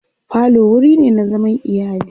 falo wurine na zaman iyali